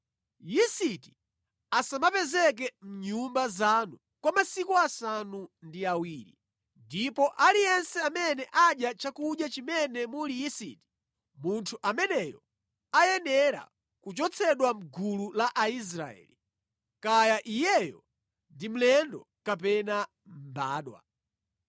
Yisiti asamapezeka mʼnyumba zanu kwa masiku asanu ndi awiri. Ndipo aliyense amene adya chakudya chimene muli yisiti, munthu ameneyo ayenera kuchotsedwa mʼgulu la Aisraeli, kaya iyeyo ndi mlendo kapena mbadwa.